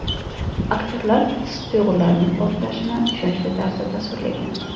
Aktyorlar his-tuyg‘ularning portlashini ishonchli tarzda tasvirlagan.